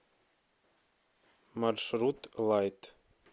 маршрут лайт